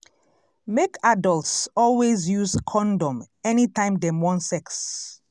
make adults always use condom anytime dem wan sex